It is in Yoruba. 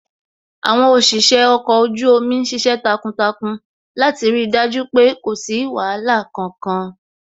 Àwọn òṣìṣẹ́ ọkọ̀ ojú omi ṣiṣẹ́ takuntakun láti rí dájú pé kò sí wàhálà kankan